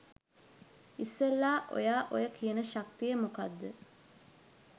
ඉස්සෙල්ලා ඔයා ඔය කියන ශක්තිය මොකක්ද